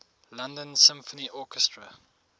london symphony orchestra